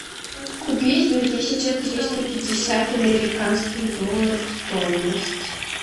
купить две тысячи триста пятьдесят американских долларов стоимость